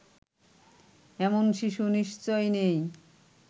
এমন শিশু নিশ্চয় নেই